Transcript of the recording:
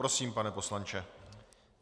Prosím, pane poslanče.